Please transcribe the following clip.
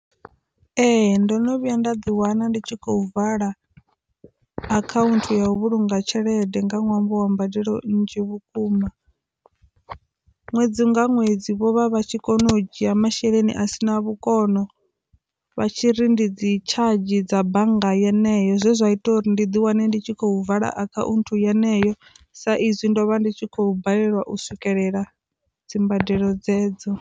Ee, ndo no vhuya nda ḓi wana ndi tshi khou vala account ya u vhulunga tshelede nga ṅwambo wa mbadelo nnzhi vhukuma ṅwedzi nga ṅwedzi vho vha vha tshi kone u dzhia masheleni a si na vhukono vha tshi ri ndi dzi tshadzhi dza bannga yeneyo zwe zwa ita uri ndi ḓi wane ndi tshi khou vala akhaunthu yeneyo sa izwi ndo vha ndi tshi khou balelwa u swikelela dzimbadelo dzedzo.